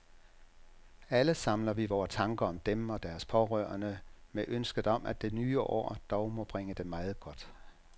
Alle samler vi vore tanker om dem og deres pårørende med ønsket om, at det nye år dog må bringe dem meget godt.